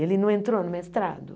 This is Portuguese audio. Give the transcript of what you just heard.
Ele não entrou no mestrado?